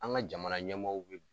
An ŋa jamana ɲɛmɔɔw be